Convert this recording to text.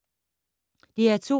DR2